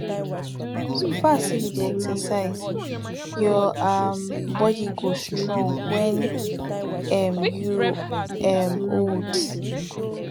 so far say you dey exercise your um body go strong wen um you um old